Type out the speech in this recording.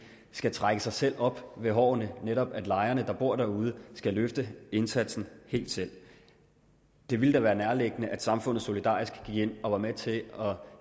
skal trække sig selv op ved hårene netop at lejerne der bor derude skal løfte indsatsen helt selv det ville da være nærliggende at samfundet solidarisk gik ind og var med til at